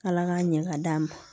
Ala k'a ɲɛ ka d'an ma